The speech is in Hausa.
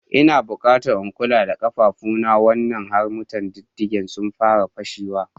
Ina bukata in kula da ƙafafuna wannan harmattan, diddigena sun fara fashe.